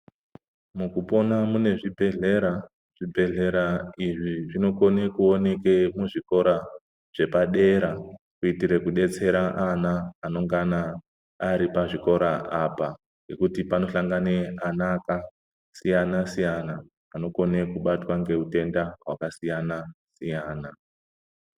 Mukupona mune zvibhehlera, zvibhehlera izvi zvinokone kuoneke muzvikora zvepadera kuita kudetsera ana anongana ari pazvikora apa nekuti panohlangana ana akasiyana siyana anokone kubatwa neutenda hwakasiyana siyana.